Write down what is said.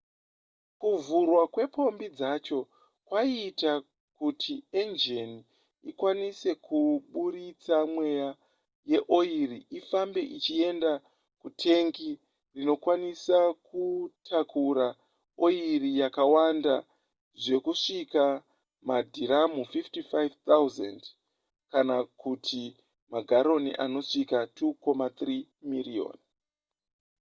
kuvhurwa kwepombi dzacho kwaiita kuti enjini ikwanise kuburitsa mweya uye oiri ifambe ichienda kutengi rinokwanisa kutakura oiri yakawanda zvekusvika madhiramu 55 000 kana kuti magaroni anosvika 2.3 miriyoni